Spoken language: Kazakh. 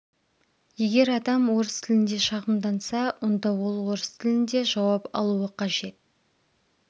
егер адам орыс тілінде шағымданса онда ол орыс тілінде жауап алуы қажет